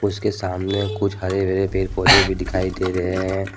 उसके सामने कुछ हरे हरे पेड़ पौधे भी दिखाई दे रहे हैं।